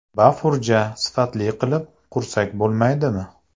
Bafurja, sifatli qilib qursak bo‘lmaydimi?